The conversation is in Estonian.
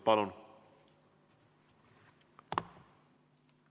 Palun!